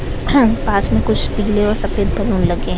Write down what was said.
पास में कुछ पीले और सफ़ेद बलून लगे हैं।